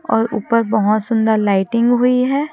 और ऊपर बहोत सुंदर लाइटिंग हुई है।